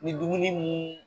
Ni dumuni mun